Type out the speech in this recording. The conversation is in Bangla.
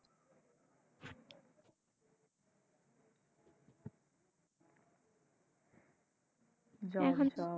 job job